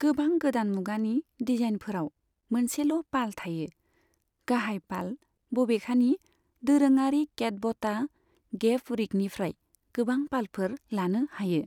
गोबां गोदान मुगानि डिजाइनफोराव मोनसेल' पाल थायो, गाहाय पाल, बबेखानि, दोरोङारि केटबटा गेफ रिगनिफ्राय गोबां पालफोर लानो हायो।